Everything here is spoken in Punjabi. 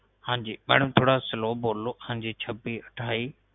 ਹਾਂਜੀ ਮੈਡਮ ਥੋੜ੍ਹਾ slow ਬੋਲੋ ਛੱਬੀ ਅਠਾਈ